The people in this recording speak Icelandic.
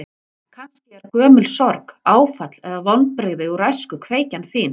Kannski er gömul sorg, áfall eða vonbrigði úr æsku kveikjan þín?